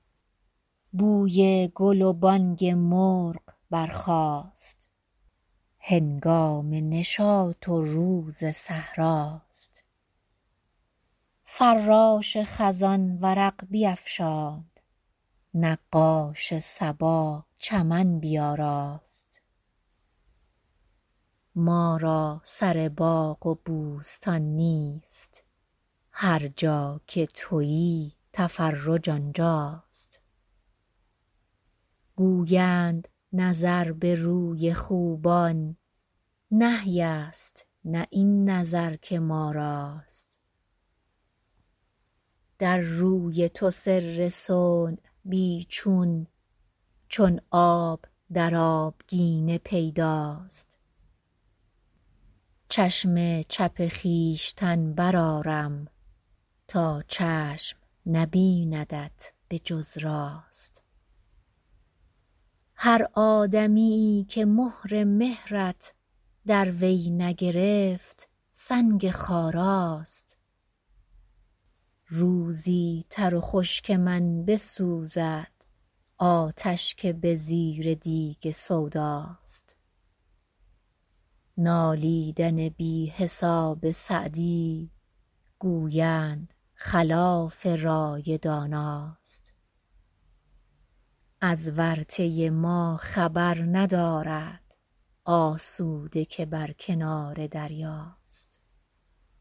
بوی گل و بانگ مرغ برخاست هنگام نشاط و روز صحرا ست فراش خزان ورق بیفشاند نقاش صبا چمن بیاراست ما را سر باغ و بوستان نیست هر جا که تویی تفرج آنجا ست گویند نظر به روی خوبان نهی ست نه این نظر که ما راست در روی تو سر صنع بی چون چون آب در آبگینه پیدا ست چشم چپ خویشتن برآرم تا چشم نبیندت به جز راست هر آدمیی که مهر مهرت در وی نگرفت سنگ خارا ست روزی تر و خشک من بسوزد آتش که به زیر دیگ سودا ست نالیدن بی حساب سعدی گویند خلاف رای دانا ست از ورطه ما خبر ندارد آسوده که بر کنار دریا ست